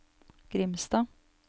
Grimstad